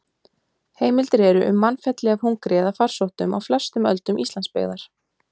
Heimildir eru um mannfelli af hungri eða farsóttum á flestum öldum Íslandsbyggðar.